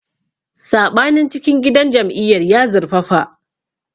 Saɓanin cikin gidan jam'iyyar ya zurfafa.